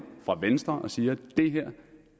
venstre siger at